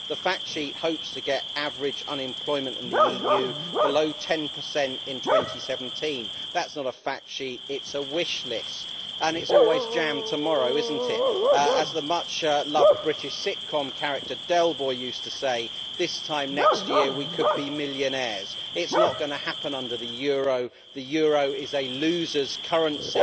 The fact sheet hopes to get average unemployment in the EU below 10 in 2017. That is not a fact sheet, it is a wish list. And it is always jam tomorrow', is it not? As the much loved British sitcom character Del Boy used to say, this time next year we could be millionaires'. It is not going to happen under the euro, the euro is a losers' currency.